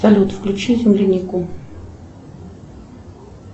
салют включи землянику